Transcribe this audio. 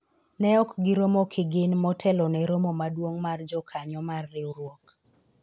ne ok giromo kigin motelo ne romo maduong' mar jokanyo mar riwruok